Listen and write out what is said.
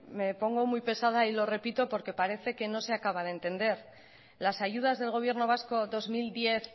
me pongo muy pesada y lo repito porque parece que no se acaba de entender las ayudas del gobierno vasco dos mil diez